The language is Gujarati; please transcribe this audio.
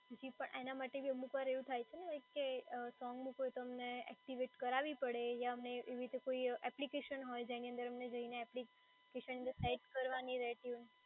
જી પણ એના માટે બી અમુક વાર એવું થાય છે ને કે સોંગ મૂકવું હોય તો અમને એક્ટિવેટ કરાવી પડે, યા અમે એવી રીતે કોઈ એપ્લિકેશન હોય જેની અંદર જઈને અમને એપ્લિકેશન add કરવાની રહેતી હોય.